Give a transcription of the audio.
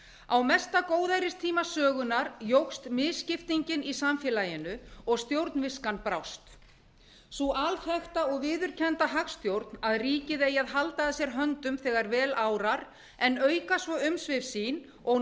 á mesta góðæristíma sögunnar jókst misskiptingin í samfélaginu og stjórnviskan brást sú alþekkta og viðurkennda hagstjórn að ríkið eigi að halda að sér höndum þegar vel árar en auka svo umsvif sín og